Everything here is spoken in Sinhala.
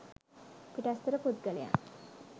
පිටස්තර පුද්ගලයන්